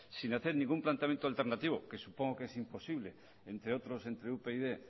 sin hacer ningún planteamiento alternativo que supongo que es imposible entre otros entre upyd